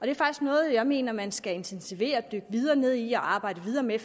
er faktisk noget jeg mener man skal intensivere og dykke videre ned i og arbejde videre med